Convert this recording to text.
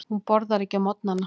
Hún borðar ekki á morgnana.